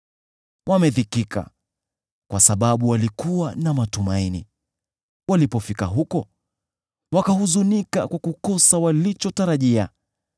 Wamedhikika, kwa sababu walikuwa na matumaini; wanafika huko, lakini wanahuzunika kwa kukosa walichotarajia.